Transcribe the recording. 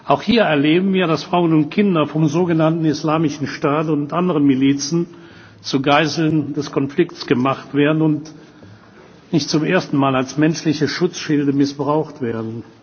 Auch hier erleben wir, dass Frauen und Kinder vom sogenannten Islamischen Staat und anderen Milizen zu Geiseln des Konflikts gemacht werden und nicht zum ersten Mal als menschliche Schutzschilde missbraucht werden.